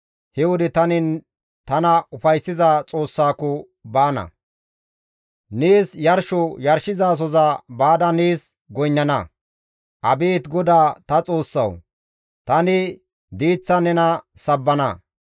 He wode tani tana ufayssiza Xoossako baana; nees yarsho yarshizasoza baada nees goynnana; Abeet Godaa ta Xoossawu! Tani diiththan nena sabbana.